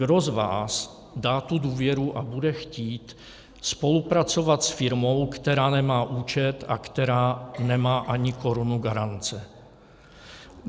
Kdo z vás dá tu důvěru a bude chtít spolupracovat s firmou, která nemá účet a která nemá ani korunu garance?